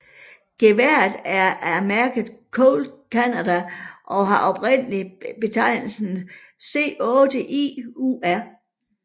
Geværet er af mærket Colt Canada og har oprindeligt betegnelsen C8IUR